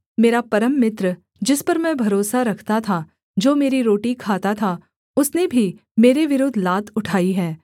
मेरा परम मित्र जिस पर मैं भरोसा रखता था जो मेरी रोटी खाता था उसने भी मेरे विरुद्ध लात उठाई है